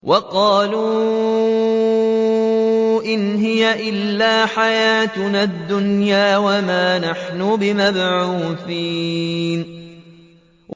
وَقَالُوا إِنْ هِيَ إِلَّا حَيَاتُنَا الدُّنْيَا وَمَا نَحْنُ بِمَبْعُوثِينَ